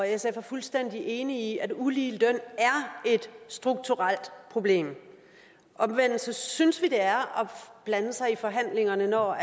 sf er fuldstændig enig i at ulige løn er et strukturelt problem omvendt synes vi det er at blande sig i forhandlingerne når